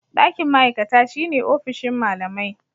Ɗakin ma'aikata shine ofishin malamai.